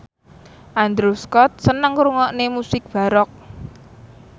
Andrew Scott seneng ngrungokne musik baroque